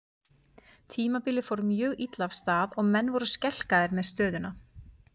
Tímabilið fór mjög illa af stað og menn voru skelkaðir með stöðuna.